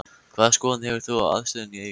Hvaða skoðun hefur þú á aðstöðunni í Eyjum?